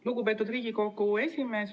Lugupeetud Riigikogu esimees!